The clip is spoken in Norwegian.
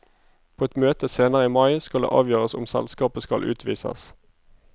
På et møte senere i mai skal det avgjøres om selskapet skal utvises.